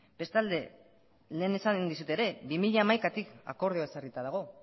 bestalde lehen esan dizut ere bi mila hamaikatik akordioa ezarrita dago